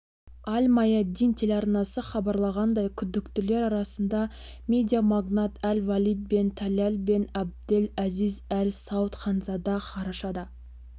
аль-маядин телеарнасы хабарлағандай күдіктілер арасында медиамагнат әль-валид бен таляль бен абдель әзиз әль сауд ханзада қарашада